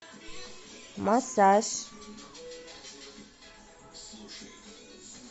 массаж